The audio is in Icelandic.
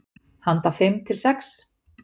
Handa fimm til sex